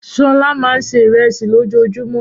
Ṣọlá máa ń se ìrẹsì lójoojúmọ́.